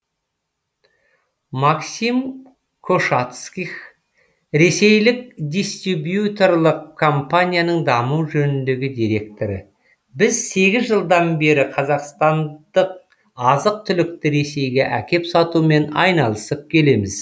максим кошатских ресейлік дистибьюторлық компанияның даму жөніндегі директоры біз сегіз жылдан бері қазақстандық азық түлікті ресейге әкеп сатумен айналысып келеміз